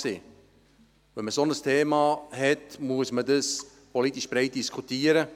Wenn man ein solches Thema hat, muss man es politisch breit diskutieren.